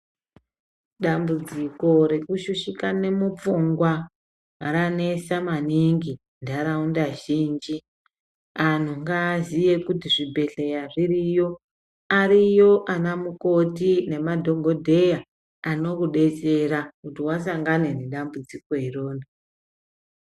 Dambudziko rekushushikane mupfungwa ranetsa maningi muntaraunda zhinji antu ngaaziye kuti zvibhedhleya zviriyo ariyo ana mukoti nemadhokodheya anokudetsera kuti wasangana nedambudziko iroro.